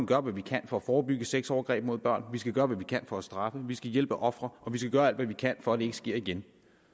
gøre hvad vi kan for at forebygge sexovergreb mod børn vi skal gøre hvad vi kan for at straffe vi skal hjælpe ofrene og vi skal gøre alt hvad vi kan for at det ikke sker igen